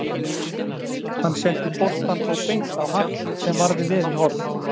Hann setti boltann þó beint á Hart sem varði vel í horn.